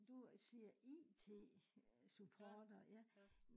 du øh siger IT øh support og ja